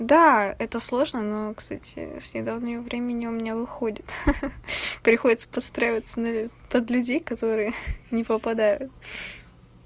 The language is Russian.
да это сложно но кстати с недавнего времени у меня выходит ха-ха приходится подстраиваться под людей которые не попадают